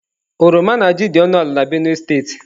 Oroma na ji dị ọnụ ala na Benue steeti.